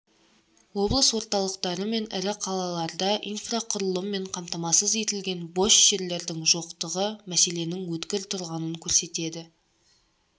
облыс орталықтары мен ірі қалаларда инфрақұрылыммен қамтамасыз етілген бос жерлердің жоқтығы мәселенің өткір тұрғанын көрсетеді